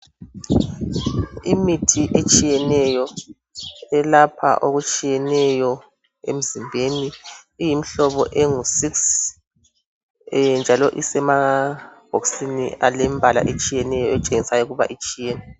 Imithi etshiyeneyo elapha okutshiyeneyo emzimbeni iyimihlobo engu6 njalo isemabhokisini alempala etshiyeneyo etshengisa ukuba itshiyene.